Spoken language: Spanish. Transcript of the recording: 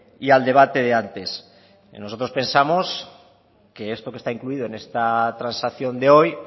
y al debate de antes nosotros pensamos que esto que está incluido en esta transacción de hoy